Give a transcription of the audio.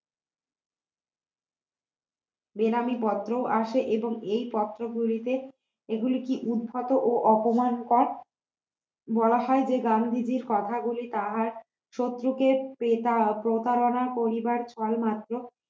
বেনামী পত্র আসে এবং এই পত্রগুলিতে এগুলি কি উদ্ভট ও অপমান কর বলা হয় যে গান্ধীজীর কথাগুলি তাহার শত্রুকে পিতা প্রতারণা করিবার ছলমাত্র